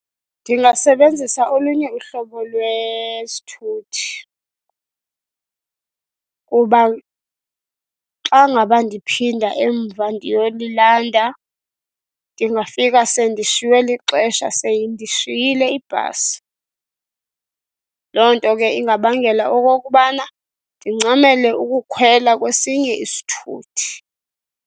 Ndingasebenzisa olunye uhlobo lwesithuthi kuba xa ngaba ndiphinda emva ndiyolilanda ndingafika sendishiywe lixesha seyindishiyele ibhasi. Loo nto ke ingabangela okokubana ndincamele ukukhwela kwesinye isithuthi.